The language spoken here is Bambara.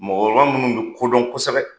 Mɔgɔ minnu bɛ don kodɔn kosɛbɛ.